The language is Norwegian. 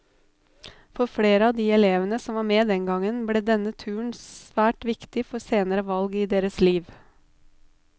For flere av de elevene som var med den gangen, ble denne turen svært viktig for senere valg i deres liv.